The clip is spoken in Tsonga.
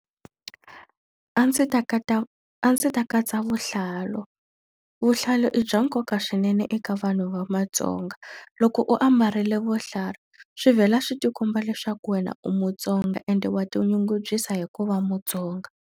A ndzi ta a ndzi ta katsa vuhlalu. Vuhlalu i bya nkoka swinene eka vanhu va matsonga. Loko u ambarile vuhlalu, swi vhela swi ti komba leswaku wena u mutsonga ende wa tinyungubyisa hi ku va mutsonga.